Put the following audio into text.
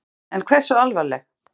En hversu alvarleg?